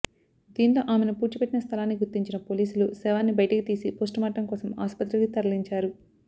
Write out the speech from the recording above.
దీంతో ఆమెను పూడ్చిపెట్టిన స్థలాన్ని గుర్తించిన పోలీసులు శవాన్ని బైటికి తీసి పోస్టుమార్టం కోసం ఆస్పత్రికి తరలించారు